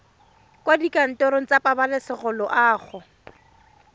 kwa dikantorong tsa pabalesego loago